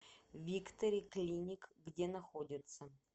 виктори клиник где находится